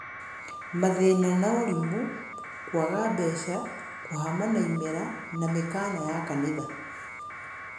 Mathĩna na ũrimũ; kũaga mbeca; kũhama na imera na mĩkana ya kanitha.